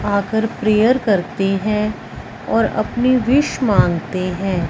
आकर प्रेयर करते हैं और अपनी विश मांगते हैं।